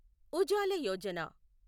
Ujala Yojana